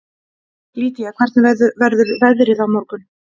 Lýdía, hvernig verður veðrið á morgun?